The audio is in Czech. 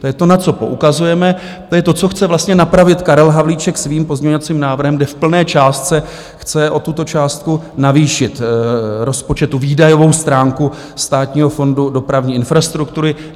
To je to, na co poukazujeme, to je to, co chce vlastně napravit Karel Havlíček svým pozměňovacím návrhem, kde v plné částce chce o tuto částku navýšit rozpočet, výdajovou stránku Státního fondu dopravní infrastruktury.